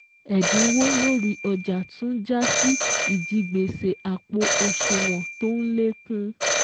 Ẹ̀dínwó lórí ọjà tún jásí ìjigbèsè àpò òṣùwọ̀n tó n lékún.